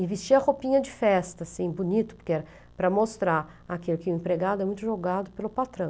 E vestir a roupinha de festa, assim, bonito, porque era para mostrar aquilo que o empregado é muito jogado pelo patrão.